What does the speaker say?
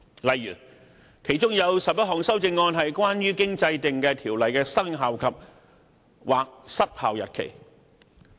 例如其中11項修正案關乎經制定的條例的生效或失效日期。